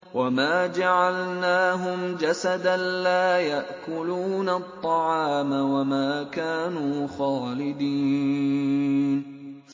وَمَا جَعَلْنَاهُمْ جَسَدًا لَّا يَأْكُلُونَ الطَّعَامَ وَمَا كَانُوا خَالِدِينَ